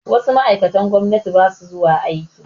Wasu ma'aikatan gwamnati ba su zuwa aiki